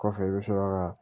Kɔfɛ i bɛ sɔrɔ ka